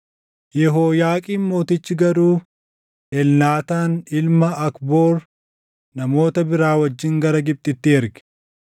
Yehooyaaqiim mootichi garuu Elnaataan ilma Akboor namoota biraa wajjin gara Gibxitti erge.